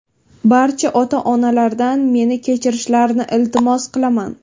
Barcha ota-onalardan meni kechirishlarini iltimos qilaman.